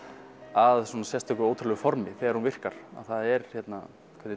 að svona sérstöku og ótrúlegu formi þegar hún virkar það er hvernig